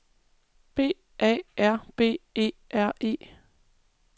B A R B E R E